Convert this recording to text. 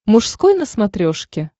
мужской на смотрешке